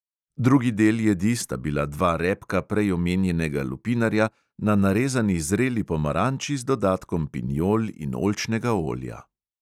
Drugi del jedi sta bila dva repka prej omenjenega lupinarja na narezani zreli pomaranči z dodatkom pinjol in oljčnega olja.